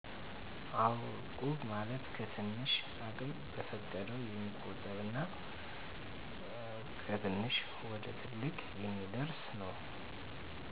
አው እቁብ ማለት ከትንሽ አቅም በፈቀደው የሚቆጠብ እና ከትንሽ ወደትልቅ የሚአደርስ ነው